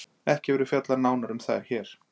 ekki verður fjallað nánar um þær hér